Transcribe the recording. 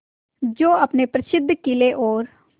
जो अपने प्रसिद्ध किले और